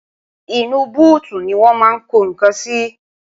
inú búùtù ni wọ́n máa ń ko nǹkan sí